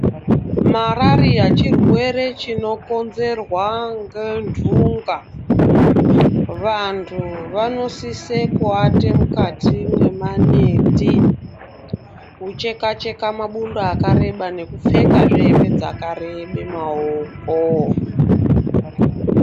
Mararia chirwere chinokonzerwa Ngendunga vantu vanosisa kuata mukati memaneti kuchekwa Cheka mabundo akareba nekuofeka he hembe dzakareba maoko.